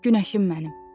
Günəşim mənim.